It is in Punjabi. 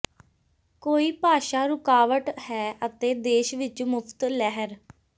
ਕੋਈ ਭਾਸ਼ਾ ਰੁਕਾਵਟ ਹੈ ਅਤੇ ਦੇਸ਼ ਵਿਚ ਮੁਫ਼ਤ ਲਹਿਰ